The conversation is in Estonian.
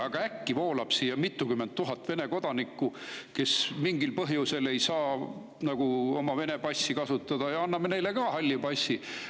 Ent äkki voolab siia mitukümmend tuhat Vene kodanikku, kes mingil põhjusel ei saa oma Vene passi kasutada, ja anname neile ka halli passi.